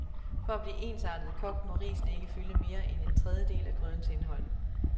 For at blive ensartet kogt, må risene ikke fylde mere en tredjedel af grydens indhold.